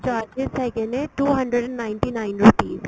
charges ਹੈਗੇ ਨੇ two hundred and ninety nine rupees